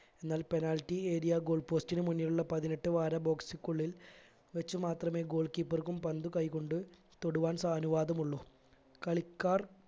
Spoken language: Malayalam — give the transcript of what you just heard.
എന്നാൽ penalty area goal post ന് മുന്നിലുള്ള പതിനെട്ട് വാര box ക്കുള്ളിൽ വെച്ചു മാത്രമേ goal keeper ക്കും പന്ത് കൈകൊണ്ട് തൊടുവാൻ സ അനുവാദമുള്ളൂ കളിക്കാർ